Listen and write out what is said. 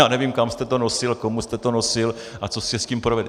Já nevím , kam jste to nosil, komu jste to nosil a co jste s tím provedl.